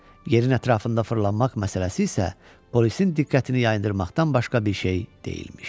Yerin ətrafında fırlanmaq məsələsi isə polisin diqqətini yayındırmaqdan başqa bir şey deyilmiş.